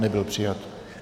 Nebyl přijat.